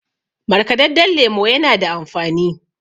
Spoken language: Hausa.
markadadden lemo yana da amfani